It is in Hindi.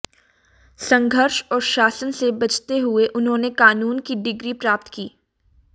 संघर्ष और शासन से बचते हुए उन्होंने कानून की डिग्री प्राप्त की